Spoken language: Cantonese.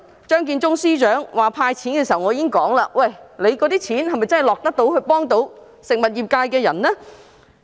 張建宗司長公布第一輪"派錢"計劃時，我已經說，那些錢是否真的能夠幫助食物業界別的人呢？